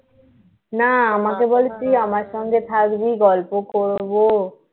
না আমাকে বলে তুই আমার সঙ্গে থাকবি গল্প করবো